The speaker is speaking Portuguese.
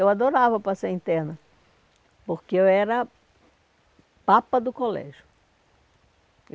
Eu adorava passar interna, porque eu era a papa do colégio.